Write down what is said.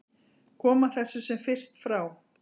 Koma þessu sem fyrst frá.